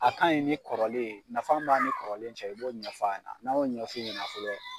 A kaɲi ni kɔrɔlen ye, nafan b'a ni kɔrɔlen cɛ i b'o ɲɛf'a yɛna. N'an y'o ɲɛf'u ɲɛna fɔlɔ